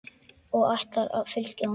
Og ætlarðu að fylgja honum?